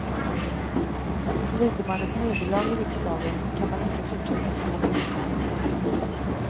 Lider man ett nederlag i riksdagen kan man inte fortsätta som om inget hänt.